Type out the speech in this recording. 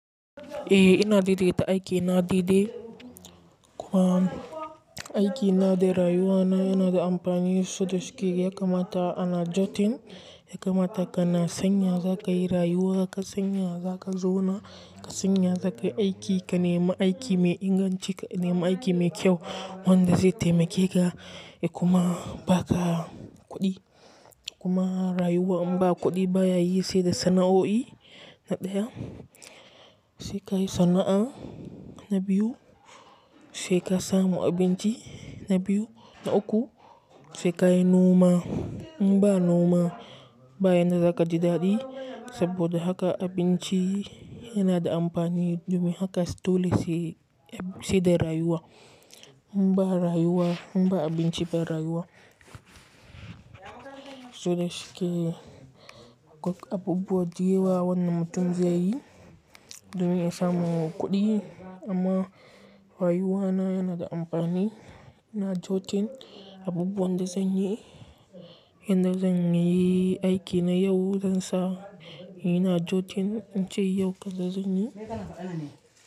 Eh ina daidaita aiki na daidai kuma aiki na da rayuwa na yana da amfani. Sodasuke haka mata ana jotin, haka mata kana sanya zakai rayuwa, kana sanya zakai zona, kana sanya zakai aiki, kana ma aiki mai inganci, kana ma aiki mai kyau. Wanda zai taimake ka, ya kuma ba ka kuɗi, kuma rayuwa in ba kuɗi baya yi sai da sana'o'i na ɗaya, sai ka yi sana'a na biyu, sai ka samu abinci na biyu na uku, sai ka yi noma, in ba noma ba yanda zaka ji daɗi. Saboda haka abinci yana da amfani domin haka dole sai sai da rayuwa. In ba rayuwa, in ba abinci ba rayuwa. Sodasuke abubuwa da yawa wannan mutum zai yi domin ya samu kuɗi amma rayuwa na yana da amfani. Ina jotin abubuwan da zanyi, inda zan yi aiki na yau, zansa ina jotin, in ce yau kaza zan yi.